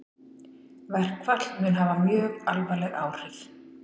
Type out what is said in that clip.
Verkfall mun hafa mjög alvarleg áhrif